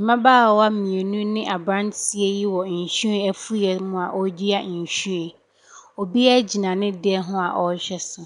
Mmabaawa mmienu ne aberanteɛ yi wɔ nhwiren afuiiɛ mu a wɔredua nhwiren. Obiara gyina ne deɛ ho a ɔrehwɛ so.